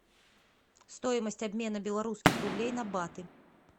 стоимость обмена белорусских рублей на баты